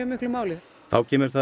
miklu máli þá kemur það